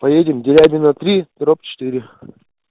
поедем дерябино три дробь четыре